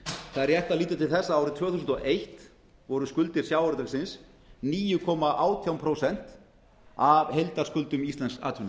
það er rétt að líta til þess að árið tvö þúsund og eitt voru skuldir sjávarútvegsins níu komma átján prósent af heildarskuldum íslensks